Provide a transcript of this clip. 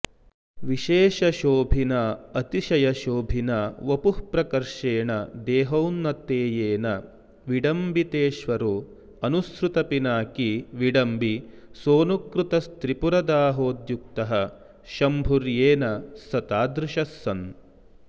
विशेषशोभिनातिशयशोभिना वपुःप्रकर्षेण देहौन्नतेयेन विडम्बितेश्वरोऽनुसृतपिनाकी विडम्बिसोऽनुकृतस्त्रिपुरदाहोद्युक्तः शंभुर्येन स तादृशः सन्